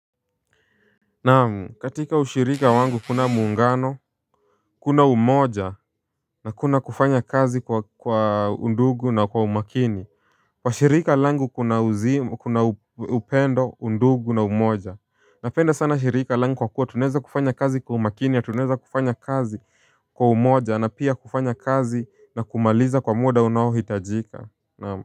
Naam, katika ushirika wangu kuna muungano. Kuna umoja na kuna kufanya kazi kwa kwa undugu na kwa umakini. Kwa shirika langu kuna uzimu, kuna upendo undugu na umoja. Napenda sana shirika langu kwa kuwa tunaweza kufanya kazi kwa umakini na tunaweza kufanya kazi kwa umoja na pia kufanya kazi na kumaliza kwa muda unaohitajika, naam.